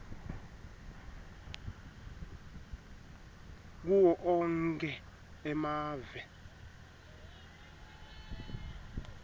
kuwo onkhe emave